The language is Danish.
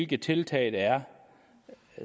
de tiltag der er